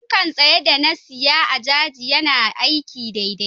fanka tsaye da na siya a jaji yana aiki daidai.